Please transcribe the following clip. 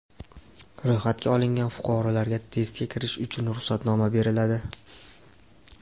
Ro‘yxatga olingan fuqarolarga testga kirish uchun ruxsatnoma beriladi.